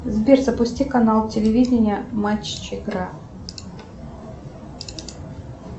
сбер запусти канал телевидения матч игра